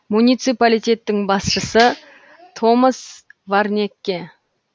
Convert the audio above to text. муниципалитеттің басшысы томас варнекке